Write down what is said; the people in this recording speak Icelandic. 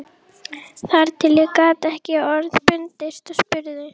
Þar til ég gat ekki orða bundist og spurði